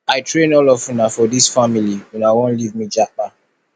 i train all of una for dis family una wan leave me japa